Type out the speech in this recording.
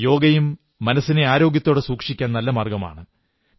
യോഗയും മനസ്സിനെ ആരോഗ്യത്തോടെ സൂക്ഷിക്കാൻ നല്ല മാർഗ്ഗമാണ്